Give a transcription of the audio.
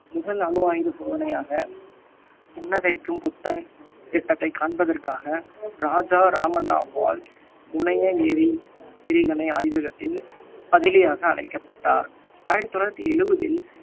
முதல் அணு ஆயுத சோதனையாக புன்னகைக்கும் புத்தன் திட்டத்தைக் காண்பதற்காக ராஜா ராமண்ணாவால் முனைய எறி~ ஏறிகணை ஆய்வகத்தின் பதிலியாக அழைக்கப்பட்டார் ஆயிரத்தி தொள்ளாயிரத்தி எழுவதில்